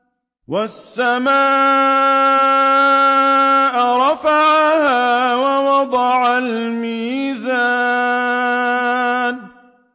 وَالسَّمَاءَ رَفَعَهَا وَوَضَعَ الْمِيزَانَ